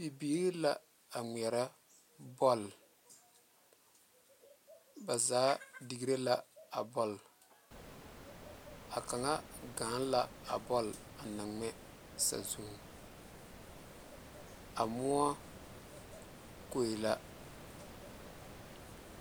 Bibilee la a ŋmeɛrɛ bɔl ba zaa digre la a bɔl a kaŋa gaane la a bɔl a na ŋmɛ saazuŋ a moɔ koŋ la.